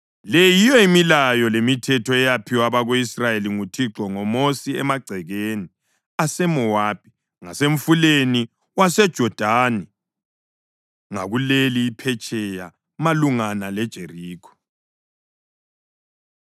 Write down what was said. Le yiyo imilayo lemithetho eyaphiwa abako-Israyeli nguThixo ngoMosi emagcekeni aseMowabi ngasemfuleni waseJodani ngakuleli iphetsheya malungana leJerikho.